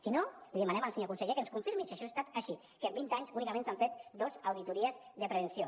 si no li demanem al senyor conseller que ens confirmi si això ha estat així que en vint anys únicament s’han fet dos auditories de prevenció